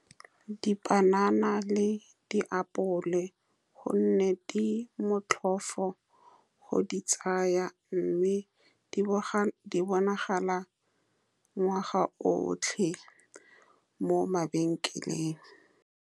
Dipanana le diapole, ka gonne di motlhofo go di tsaya, mme di bonagala ngwaga otlhe mo mabenkeleng.